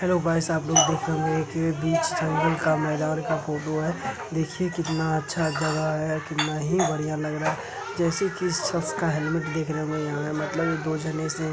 Hello guys आप लोग देख रहे होंगें की बीच जंगल का मैदान का फोटो है। देखिये कितना अच्छा जगह है। कितना ही बढ़िया लग रहा। जैसे की इस शक्श का हेलमेट देख रहें होंगें। यहाँ मतलब दो जने से --